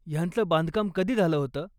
ह्याचं बांधकाम कधी झालं होतं?